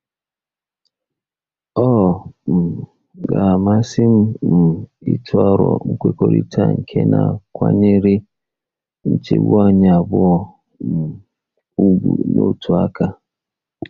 Ọ um ga-amasị m um ịtụ aro nkwekọrịta nke na-akwanyere nchegbu anyị abụọ um ùgwù n'otu aka.